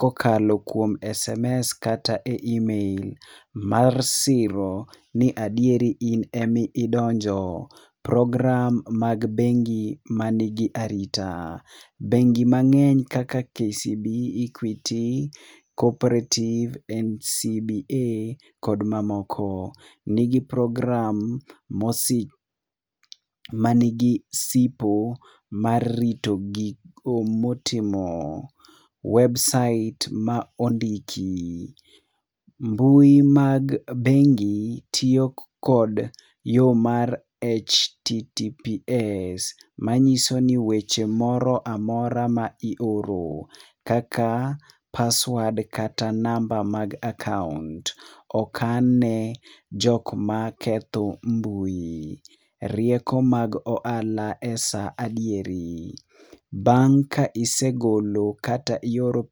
kokalo kuom sms kata e email mar siro ni adieri in ema idonjo, program mag bengi mani gi arita, bengi mangeny kaka kcb,equity, cooperative, ncba kod mamoko ni gi program ma ni gi sipo mar rito gigo motimo ,website ma ondiki, mbui mag bengi tiyo kod yo mar https manyiso ni weche moro amora mioro kaka password kata namba mar akaunt okn ne jok maketho mbui, rieko mag ohala e saa adieri bang' ka isegolo kata igolo..